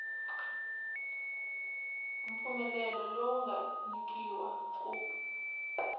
mpfumelelo lowu nga nyikiwa ku